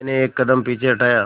मैंने एक कदम पीछे हटाया